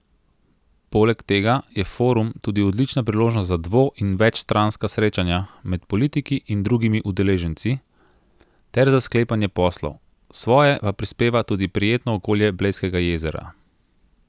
Poleg tega je forum tudi odlična priložnost za dvo in večstranska srečanja med politiki in drugimi udeleženci ter za sklepanje poslov, svoje pa prispeva tudi prijetno okolje Blejskega jezera.